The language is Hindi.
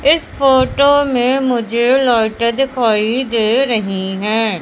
इस फोटो में मुझे लाइटें दिखाई दे रहीं हैं।